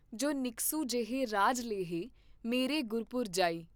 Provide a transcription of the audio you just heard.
ਜੋ ਨਿਕਸੁ ਜੈਹੈ ਰਾਜ ਲੈਹੈ, ਮਰੇ ਗੁਰਪੁਰਿ ਜਾਇ।